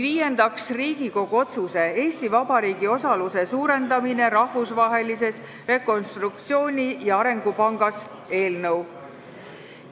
Viiendaks, Riigikogu otsuse "Eesti Vabariigi osaluse suurendamine Rahvusvahelises Rekonstruktsiooni- ja Arengupangas" eelnõu.